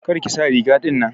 Kar ki sa riga ɗinnan.